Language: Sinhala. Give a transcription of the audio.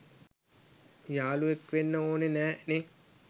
යාලුවෙක් වෙන්න ඕන නෑ නේ